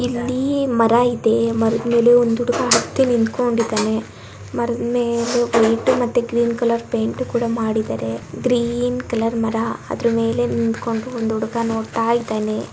ಇಲ್ಲಿ ಮರ ಇದೆ ಮರದ್ ಮೇಲೆ ಒಂದ್ ಹುಡುಗ ಹತ್ತಿ ನಿತ್ಕೊಂಡಿದಾನೆ ಮರದ್ ಮೇಲೆ ವೈಟ್ ಮತ್ತೆ ಗ್ರೀನ್ ಕಲರ್ ಪೈಂಟ್ ಕೂಡಾ ಮಾಡಿದ್ದಾರೆ ಗ್ರೀನ್ ಕಲರ್ ಮರ ಅದ್ರ ಮೇಲೆ ನಿಂತ್ಕೊಂಡು ಒಂದ್ ಹುಡುಗ ನೋಡ್ತಾ ಇದ್ದಾನೆ.